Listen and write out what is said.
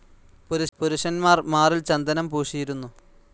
പുരുഷന്മാർ മാറിൽ ചന്ദനം പൂശിയിരുന്നു.